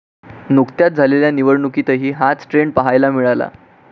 नुुकत्याच झालेल्या निवडणुकीतही हाच ट्रेंड पहायला मिळाला.